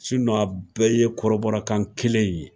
a bɛɛ ye kɔrɔbɔrɔkan kelen in ye